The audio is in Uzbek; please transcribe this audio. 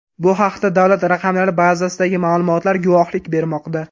Bu haqda davlat raqamlari bazasidagi ma’lumotlar guvohlik bermoqda.